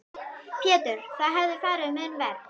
Pétur: Þá hefði farið mun verr?